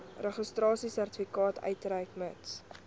registrasiesertifikaat uitreik mits